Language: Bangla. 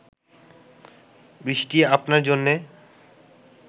বৃষ্টি আপনার জন্যে